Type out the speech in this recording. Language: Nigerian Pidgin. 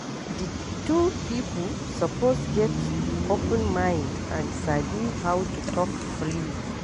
Di two pipo suppose get open mind and sabi how to talk freely